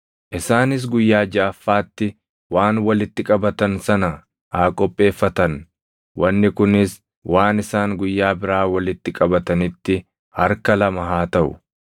Isaanis guyyaa jaʼaffaatti waan walitti qabatan sana haa qopheeffatan; wanni kunis waan isaan guyyaa biraa walitti qabatanitti harka lama haa taʼu.”